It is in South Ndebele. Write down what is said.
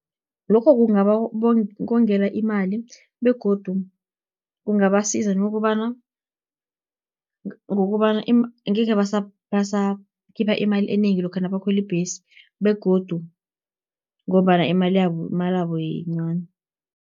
Lokho kungabakongela imali, begodu kungabasiza ngokobana, ngekhe basakhipha imali enengi lokha nabakhweli ibhesi, begodu ngombana imalabo yincani.